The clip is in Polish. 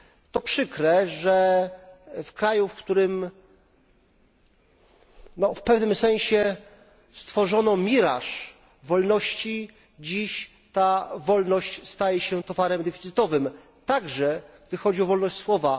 To przykre, że w kraju, w którym w pewnym sensie stworzono miraż wolności, dziś ta wolność staje się towarem deficytowym, także, jesli chodzi o wolność słowa.